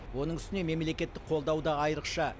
оның үстіне мемлекеттік қолдау да айрықша